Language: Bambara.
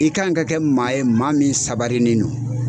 I kan ka kɛ maa ye maa min sabarinen no.